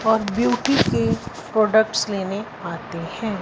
और ब्यूटी के प्रोडक्ट्स लेने आते हैं।